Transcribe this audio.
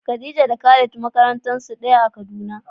Khadija da Khalid makaranta ɗaya suke zuwa a Kaduna.